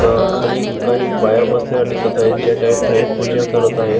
खाली काही बाया बसलेल्या दिसत आहेत ज्या काही खाली पूजा करत आहेत.